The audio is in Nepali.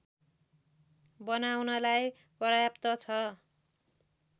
बनाउनलाई पर्याप्त छ